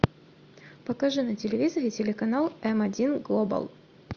покажи на телевизоре телеканал м один глобал